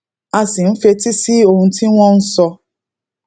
a sì ń fetí sí ohun tí wón ń sọ